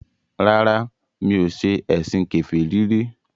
Rárá, mi ò ṣe ẹ̀sìn kèfèrí rí